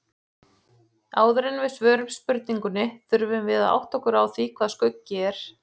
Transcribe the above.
Áður en við svörum spurningunni þurfum við að átta okkur á því hvað skuggi er.